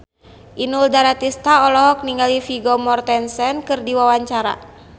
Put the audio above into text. Inul Daratista olohok ningali Vigo Mortensen keur diwawancara